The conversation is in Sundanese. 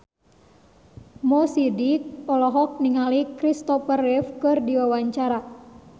Mo Sidik olohok ningali Kristopher Reeve keur diwawancara